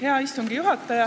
Hea istungi juhataja!